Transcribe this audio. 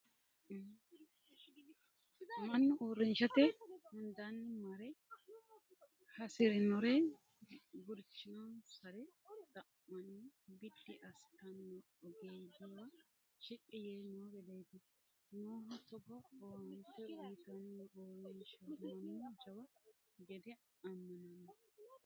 Mannu uurrishate hundanni marre hasirinore gurchinonsare xa'manni biddi assittano ogeeyyewa shiqqi yee no gedeti noohu togo owaante uyittano uurrinsha mannu jawa gede amanano.